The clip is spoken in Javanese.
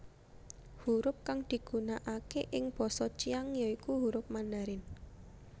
Hurup kang digunakake ing basa Qiang ya iku hurup Mandarin